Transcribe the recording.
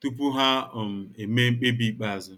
tupu ha um emee mkpebi ikpeazụ.